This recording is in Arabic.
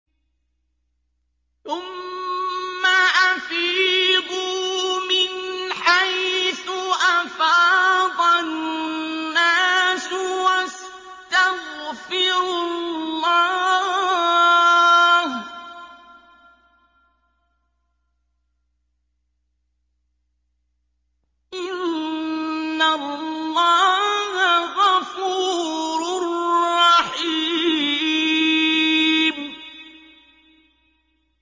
ثُمَّ أَفِيضُوا مِنْ حَيْثُ أَفَاضَ النَّاسُ وَاسْتَغْفِرُوا اللَّهَ ۚ إِنَّ اللَّهَ غَفُورٌ رَّحِيمٌ